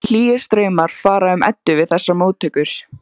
Hlýir straumar fara um Eddu við þessar móttökur.